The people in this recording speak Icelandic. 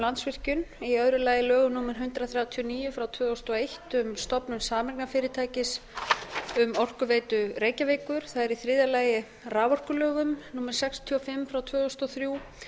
landsvirkjun í öðru lagi lögum númer hundrað þrjátíu og níu tvö þúsund og eitt um stofnun sameignarfyrirtækis um orkuveitu reykjavíkur það er í þriðja lagi raforkulögum númer sextíu og fimm tvö þúsund og þrjú